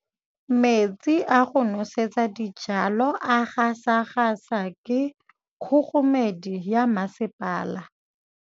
Metsi a go nosetsa dijalo a gasa gasa ke kgogomedi ya masepala.